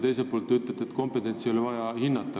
Teiselt poolt te ütlesite, et kompetentsi ei ole vaja hinnata.